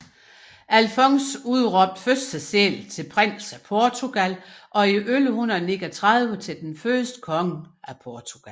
Alfons udråbte først sig selv til Prins af Portugal og i 1139 til den første konge af Portugal